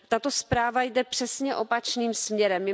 Tato zpráva jde přesně opačným směrem.